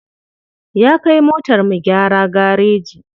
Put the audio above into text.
Ya kai motar mu gyara gareji.